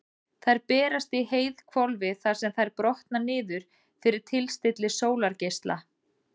Þær berast í heiðhvolfið þar sem þær brotna niður fyrir tilstilli sólargeisla.